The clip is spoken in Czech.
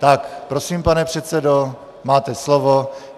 Tak prosím, pane předsedo, máte slovo.